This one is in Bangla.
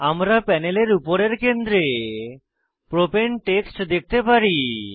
আমরা প্যানেলের উপরের কেন্দ্রে প্রপাণে টেক্সট দেখতে পারি